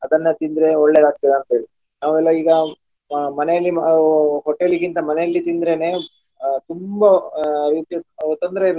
ಅದನ್ನೇ ತಿಂದ್ರೆ ಒಳ್ಳೆಯದು ಆಗ್ತದೆ ಅಂತೇಳಿ. ನಾವೆಲ್ಲ ಈಗ ಅಹ್ ಮನೆಯಲ್ಲಿಯೇ ಅಹ್ hotel ಗಿಂತ ಮನೆಯಲ್ಲಿ ತಿಂದ್ರೆನೇ ಅಹ್ ತುಂಬಾ ಆ ರೀತಿಯ ತೊಂದರೆ ಇರುವುದಿಲ್ಲ.